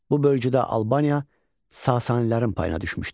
Bu bölgüdə Albaniya Sasanilərin payına düşmüşdü.